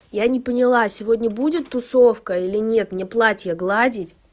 я не поняла сегодня будет тусовка или нет мне платье гладить